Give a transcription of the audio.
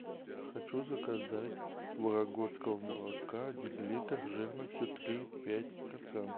хочу заказать вологодского молока один литр жирностью три и пять процента